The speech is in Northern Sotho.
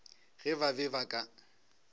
ge ba be ba ka